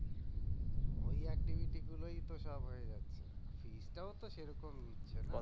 ওই গুলোই তো সব হয়ে যাচ্ছে টাও তো সেরকম নিচ্ছে না